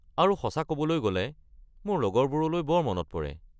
আৰু সঁচা ক’বলৈ গ’লে, মোৰ লগৰবোৰলৈ বৰ মনত পৰে।